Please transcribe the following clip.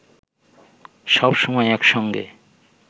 সব সময় একসঙ্গে